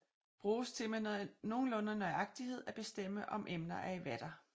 Bruges til med nogenlunde nøjagtighed at bestemme om emner er i vater